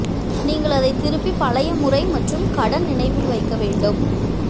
நீங்கள் அதை திருப்பி பழைய முறை மற்றும் கடன் நினைவில் வைக்க வேண்டும்